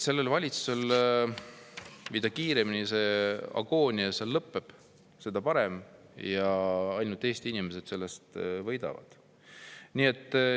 Mida kiiremini selle valitsuse agoonia lõpeb, seda parem, Eesti inimesed sellest ainult võidavad.